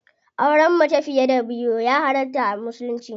Auren mace fiye da biyu ya halarta a musulunci.